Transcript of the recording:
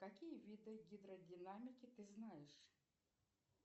какие виды гидродинамики ты знаешь